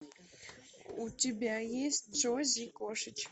у тебя есть джози и кошечки